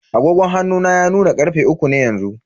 Agogon hannu na ya nuna karfe uku ne yanzu.